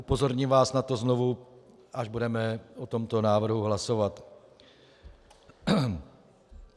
Upozorním vás na to znovu, až budeme o tomto návrhu hlasovat.